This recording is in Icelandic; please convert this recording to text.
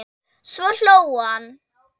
Svo hló hann.